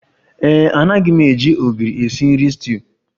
Ee e, anaghị m eji ogiri esi nri stuuyu